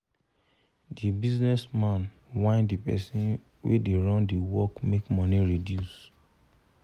the business man whine the person wey da run d work make money reduce um